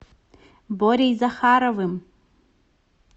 борей захаровым